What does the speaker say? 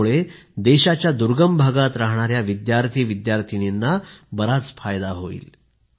यामुळे देशाच्या दुर्गम भागात राहणाऱ्या विद्यार्थीविद्यर्थिनीना बराच फायदा होईल